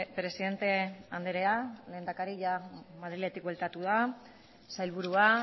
presidente andrea lehendakari jada madriletik bueltatu da sailburua